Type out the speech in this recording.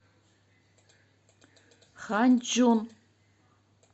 ханьчжун